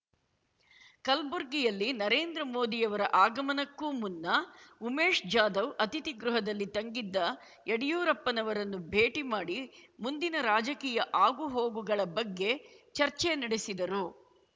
ಕಲ್ಬುರ್ಗಿಯಲ್ಲಿ ನರೇಂದ್ರಮೋದಿಯವರ ಆಗಮನಕ್ಕೂ ಮುನ್ನ ಉಮೇಶ್ ಜಾಧವ್ ಅತಿಥಿಗೃಹದಲ್ಲಿ ತಂಗಿದ್ದ ಯಡಿಯೂರಪ್ಪನವರನ್ನು ಭೇಟಿ ಮಾಡಿ ಮುಂದಿನ ರಾಜಕೀಯ ಆಗು ಹೋಗುಗಳ ಬಗ್ಗೆ ಚರ್ಚೆ ನಡೆಸಿದರು